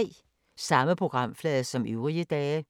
Samme programflade som øvrige dage